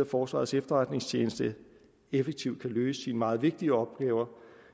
at forsvarets efterretningstjeneste effektivt kan løse sine meget vigtige opgaver